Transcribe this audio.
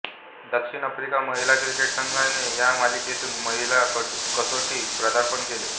दक्षिण आफ्रिका महिला क्रिकेट संघाने या मालिकेतून महिला कसोटी पदार्पण केले